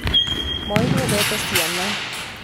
Moi nĩendete ciana